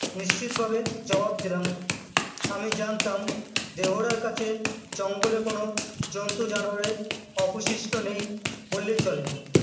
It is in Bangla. নিশ্চিত ভাবে জবাব দিলাম আমি জানতাম দেহরার কাছে জঙ্গলে কোনো জন্তু জানোয়ারের অপশিষ্ট নেই বললেই তবে